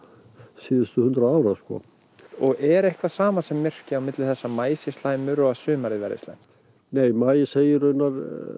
síðustu hundrað ára sko og er eitthvað samasem merki á milli þess að maí sé slæmur og sumarið verði slæmt nei maí segir raunar